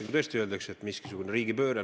–, kui tõesti öeldakse, et on mingisugune riigipööre.